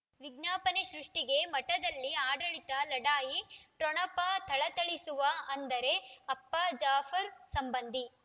ವಿಜ್ಞಾಪನೆ ಸೃಷ್ಟಿಗೆ ಮಠದಲ್ಲಿ ಆಡಳಿತ ಲಢಾಯಿ ಠೊಣಪ ಥಳಥಳಿಸುವ ಅಂದರೆ ಅಪ್ಪ ಜಾಫರ್ ಸಂಬಂಧಿ